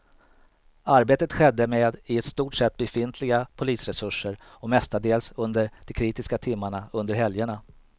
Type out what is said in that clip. Arbetet skedde med i stort sett befintliga polisresurser och mestadels under de kritiska timmarna under helgerna.